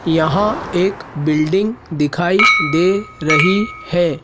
यहां एक बिल्डिंग दिखाई दे रही है।